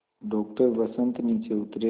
doctor Vasant नीचे उतरे